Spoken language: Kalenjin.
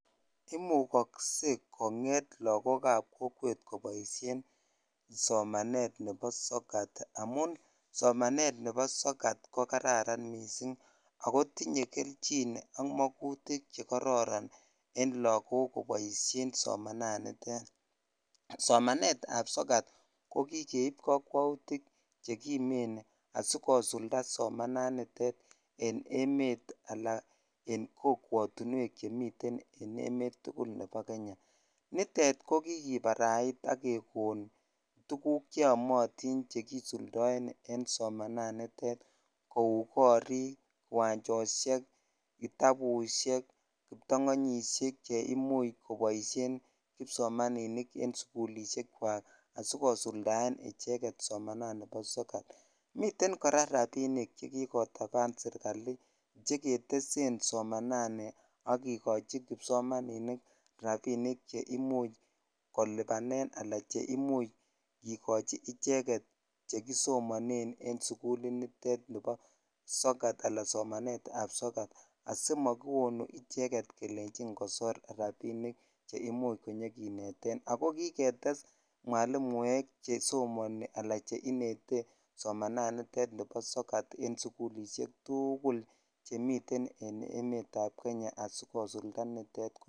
Imukosen konget lakok ab kokwet koboishen somanet nebo sokat amun somanet nebo sokat ko kararan missing ako tinye kelchin ak mokutik che kororon en lakok koboishen somananito somanet ab sojat ko kikeib kakwaut che kimen asiikosulda somananiton en emet ala kokwetuwek che miten en emet tukul nebo Kenya nitet ko kikibarait ak kekon tuk cheomotin en somananiton ko korik ,kiwanjoshek ,kitabushek kiptangonyoshek che imuch koboishen kipsomaninik en suklishek chwak asikosuldan icheget somanet ab sokat miten kora rabinik che kikotapan sirikali che jetesen somanani ak ketesen kipsomaninik rabinik che imuch koliban ala che imucn kikochi icheget che kisomonenn en sukulit nitet nibo sokat ala somanet ab sokat asimakiwon icheget kelenjin kosor rabinik che imuch konyokineten ako kiketse mwalimuek che somonik ala che inete somanani bo sokat en sukul tuguk chemi en emet ab Kenya asikosulda nitet komie.